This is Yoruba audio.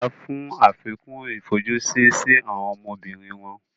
ìyá fún àfikún ifojusi sí àwọn ọmọbìnrin wọn